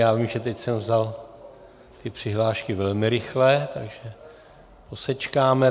Já vím, že teď jsem vzal ty přihlášky velmi rychle, takže posečkáme.